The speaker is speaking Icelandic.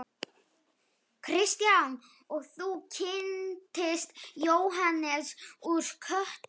Kristján: Og þú kynntist Jóhannesi úr Kötlum?